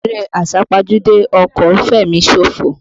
Eré àsápajúdé ọkọ̀ ń fẹ̀mí ṣòfò.